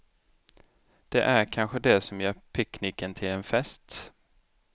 Det är kanske det som gör picknicken till en fest.